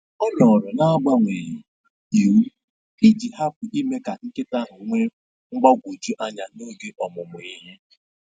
Ọ nọrọ na agbanweghị iwu iji hapụ ime ka nkịta ahụ nwee mgbagwoju anya n'oge ọmụmụ ihe